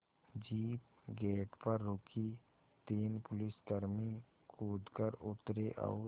jeep gate पर रुकी तीन पुलिसकर्मी कूद कर उतरे और